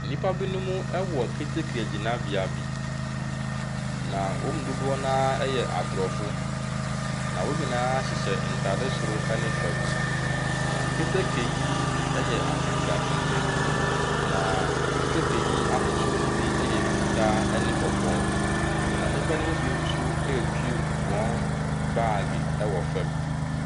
Nnipa bi nom ɛwɔ keteke gyinabea bi na wɔn mu dodoɔ noa yɛ abrɔfo na wɔn nyinaa hyehyɛ ntaade soro ne fam. Na keteke yi yɛ atentenatenten. Na keteke yi ahosuo yi bi yɛ fitaa ne kɔkɔɔ. Na nnipa nom bi nso retwi wɔn bag ɛwɔ fam.